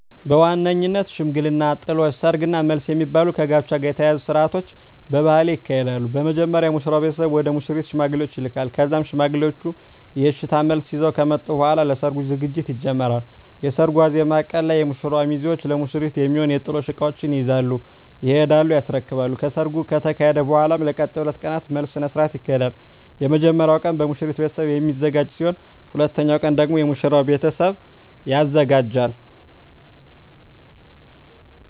በዋነኝነት ሽምግልና፣ ጥሎሽ፣ ሰርግ እና መልስ የሚባሉ ከጋብቻ ጋር የተያያዙ ስርአቶች በባህሌ ይካሄዳሉ። በመጀመሪያ የሙሽራው ቤተሰብ ወደ ሙሽሪት ሽማግሌዎችን ይልካል ከዛም ሽማግሌዎቹ የእሽታ መልስ ይዘው ከመጡ በኃላ ለሰርጉ ዝግጅት ይጀመራል። የሰርጉ ዋዜማ ቀን ላይ የሙሽራው ሚዜዎች ለሙሽሪት የሚሆኑ የጥሎሽ እቃዎችን ይዘው ይሄዱና ያስረክባሉ። ከሰርጉ ከተካሄደ በኃላም ለቀጣይ 2 ቀናት መልስ ስነ ስርዓት ይካሄዳል። የመጀመሪያው ቀን በሙሽሪት ቤተሰብ የሚዘጋጅ ሲሆን ሁለተኛው ቀን ደግሞ የሙሽራው ቤተሰብ ያዘጋጃል።